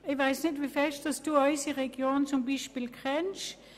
Ich weiss nicht, wie gut Sie unsere Region kennen.